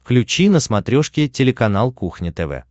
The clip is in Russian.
включи на смотрешке телеканал кухня тв